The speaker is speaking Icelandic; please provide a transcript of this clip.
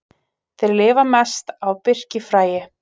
Þeir lifa mest á birkifræi.